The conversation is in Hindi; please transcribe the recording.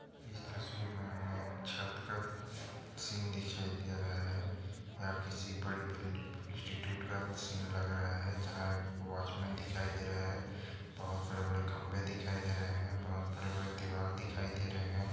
इस तस्वीर मे हमे छत का सीन दिखाई दे रहा है या किसी बड़ी बिल्डिंग इंस्टीट्यूट का सीन लग रहा है जहा एक वॉचमन दिखाई दे रहा है बहुत बड़े बड़े खंबे दिखाइ दे रहे है बहुत बड़े बड़े दीवार दिखाई दे रहे है।